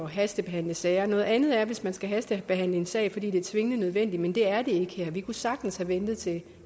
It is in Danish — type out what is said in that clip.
hastebehandle sager noget andet er hvis man skal hastebehandle en sag fordi det er tvingende nødvendigt men det er det ikke her vi kunne sagtens have ventet til